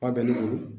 A bɛ ne bolo